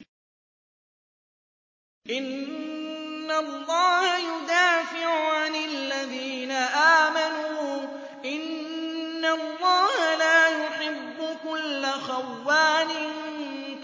۞ إِنَّ اللَّهَ يُدَافِعُ عَنِ الَّذِينَ آمَنُوا ۗ إِنَّ اللَّهَ لَا يُحِبُّ كُلَّ خَوَّانٍ